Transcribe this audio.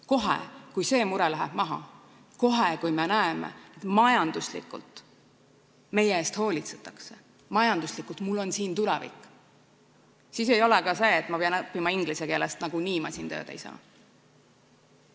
Kohe, kui see mure läheb maha, kohe, kui nähakse, et majanduslikult minu eest hoolitsetakse, majanduslikult on mul siin tulevikku, ei ole ka seda, et ma pean õppima inglise keeles, sest nagunii ma siin tööd ei saa.